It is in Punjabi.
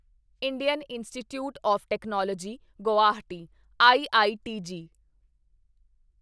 Indian Institute of Technology Guwahati IITG